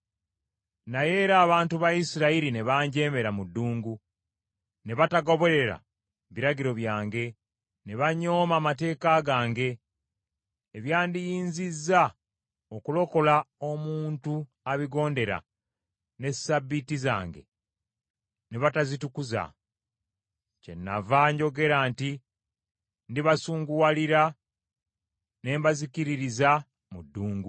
“ ‘Naye era abantu ba Isirayiri ne banjeemera mu ddungu, ne batagoberera biragiro byange, ne banyooma amateeka gange, ebyandiyinzizza okulokola omuntu abigondera, ne Ssabbiiti zange ne batazitukuza. Kyenava njogera nti ndibasunguwalira ne mbazikiririza mu ddungu.